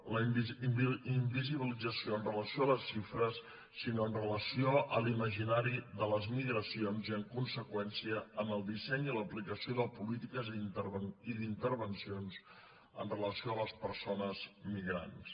la invisibilització amb relació a les xifres sinó amb relació a l’imaginari de les migracions i en conseqüència en el disseny i l’aplicació de polítiques i d’intervencions amb relació a les persones migrants